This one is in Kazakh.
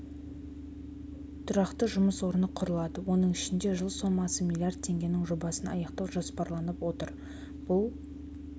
тұрақты жұмыс орны құрылады оның ішінде жылы сомасы млрд теңгенің жобасын аяқтау жоспарланып отыр бұл